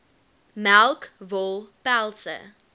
melk wol pelse